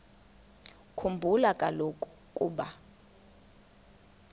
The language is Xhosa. khumbula kaloku ukuba